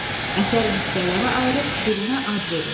Əsəri hissələrə ayırıb birinə ad verin.